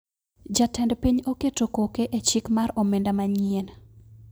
Jatend piny oketo koke e chik mar omenda manyien